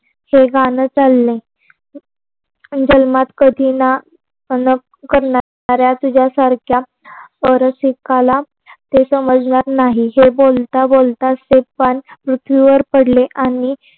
वेगाने चालले. जलमात कधी न करणाऱ्या तुझ्या सारख्या पर्वतीताल ते समजणार नाही. ते बोलत बोलत तेच कान पृथ्वीवर पडल आणि